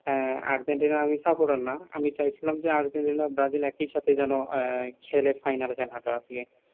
আহ আর্জেন্টিনার আমি supporter না আমি চাইছিলাম যে আর্জেন্টিনা ব্রাজিল একই সাথে যেনও এ খেলে ফাইনাল খেলাটা আর কি